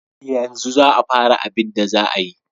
Yanzu za a fara abida za a yi.